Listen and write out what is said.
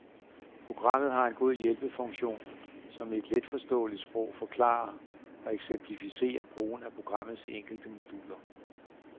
Programmet har en god hjælpefunktion, som i et letforståeligt sprog forklarer og eksemplificerer brugen af programmets enkelte moduler.